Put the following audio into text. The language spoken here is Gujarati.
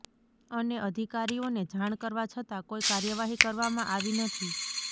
અને અધિકારીઓને જાણ કરવા છતાં કોઈ કાર્યવાહી કરવામાં આવી નથી